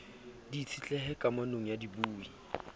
di itshetlehe kamanong ya dibui